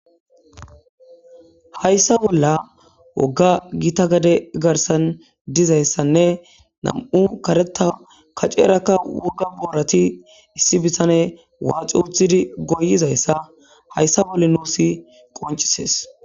hayssa bolla wogga gita gade garsan dizayssanne nam7u kareta kacerakka wogga boorati issi bisane waaxi uthidi goyizayssa hayssa bolle nuusi qoncisees